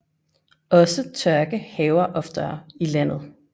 Også tørke hærger oftere i landet